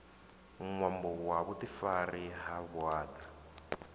ṅwambo wa vhuḓifari ha vhuaḓa